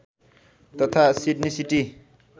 तथा Sydney city